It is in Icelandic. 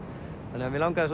þannig að mig langaði